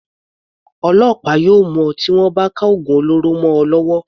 Ọlọ́pàá yóò mú ọ tí wọ́n bá ka ògùn olóró mọ ọ lọ́wọ́.